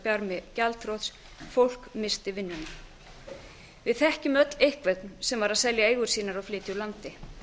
barmi gjaldþrots fólk missti vinnuna við þekkjum öll einhvern sem var að selja eigur sína og flytja úr landi